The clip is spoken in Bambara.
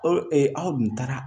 Ɔ aw dun taara